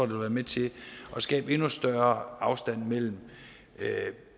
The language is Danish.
vil være med til at skabe endnu større afstand mellem